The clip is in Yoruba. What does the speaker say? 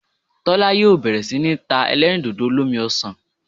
Tólá yóò bèrè sí ní ta elérìndòdò olómi osàn